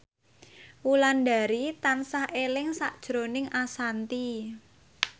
Wulandari tansah eling sakjroning Ashanti